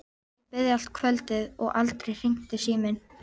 Ég beið allt kvöldið og aldrei hringdi síminn.